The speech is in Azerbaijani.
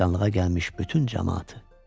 Qəbristanlığa gəlmiş bütün camaatı.